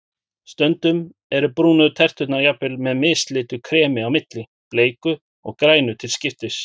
Stundum eru brúnu terturnar jafnvel með mislitu kremi á milli, bleiku og grænu til skiptis.